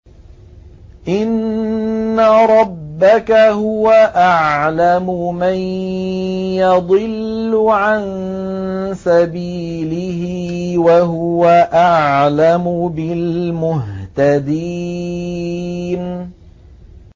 إِنَّ رَبَّكَ هُوَ أَعْلَمُ مَن يَضِلُّ عَن سَبِيلِهِ ۖ وَهُوَ أَعْلَمُ بِالْمُهْتَدِينَ